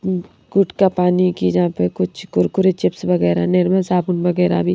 गुडका पानी की जहां पे कुछ कुरकुरे चिप्स वगैरह निर्मल साबुन वगैरह भी--